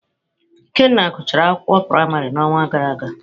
Ikenna gụchara akwụkwọ praịmarị n’ọnwa gara aga.